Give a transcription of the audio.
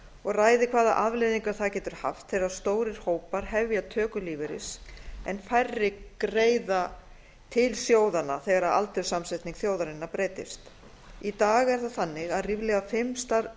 og ræði hvaða afleiðingar það getur haft þegar stórir hópar hefja töku lífeyris en færri greiða til sjóðanna þegar aldurssamsetning þjóðarinnar breytist í dag er það þannig að